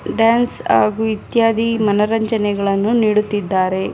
Dance ಆಗೂ ಇತ್ಯಾದಿ ಮನೋರಂಜನೆಗಳನ್ನು ನೀಡುತ್ತಿದ್ದಾರೆ .